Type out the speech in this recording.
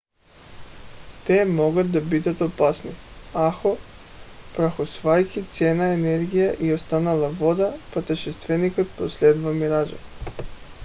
те могат да бъдат опасни ако прахосвайки ценна енергия и останала вода пътешественикът преследва миража